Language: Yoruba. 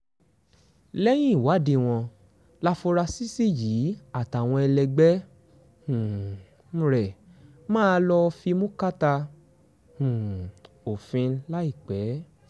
lẹ́yìn ìwádìí wọn láforasísì yìí àtàwọn ẹlẹgbẹ́ um rẹ máa lọ́ọ́ fimú kàtà um òfin láìpẹ́